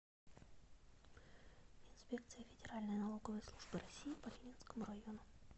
инспекция федеральной налоговой службы россии по ленинскому району